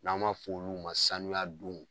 N'a ma f'olu ma sanuya don